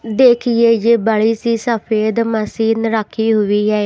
देखिए ये बड़ी सी सफेद मसीन रखी हुई है।